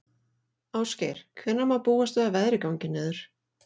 Ásgeir, hvenær má búast við að veðrið gangi niður?